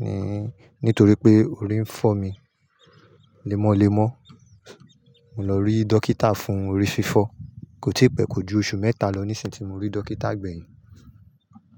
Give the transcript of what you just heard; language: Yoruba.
Ni-nítorí pé orí ń fọ́ mi lemọ́lemọ́, mo lọ rí dókítà fún orí fífọ́. Kò tí pẹ́ kò ju oṣù mẹ́ta lọ níṣìnyí tí mo rí dókítà gbẹ̀yìn.